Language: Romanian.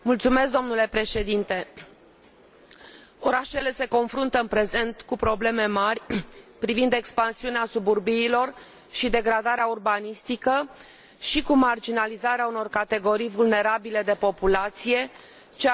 Orașele se confruntă în prezent cu probleme mari privind expansiunea suburbiilor și degradarea urbanistică și cu marginalizarea unor categorii vulnerabile de populație, ceea ce a generat declin economic și social.